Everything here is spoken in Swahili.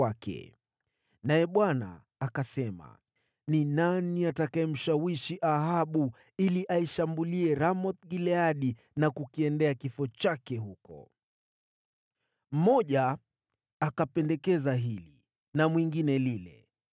Naye Bwana akasema, ‘Ni nani atakayemshawishi Ahabu, mfalme wa Israeli, ili aishambulie Ramoth-Gileadi na kukiendea kifo chake huko?’ “Mmoja akapendekeza hili na mwingine lile.